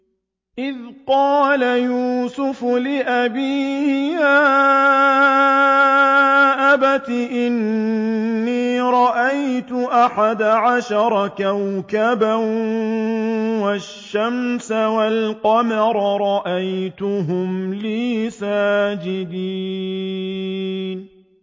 إِذْ قَالَ يُوسُفُ لِأَبِيهِ يَا أَبَتِ إِنِّي رَأَيْتُ أَحَدَ عَشَرَ كَوْكَبًا وَالشَّمْسَ وَالْقَمَرَ رَأَيْتُهُمْ لِي سَاجِدِينَ